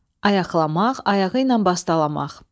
Ayaqlamaq, ayağı ilə bastalamaq.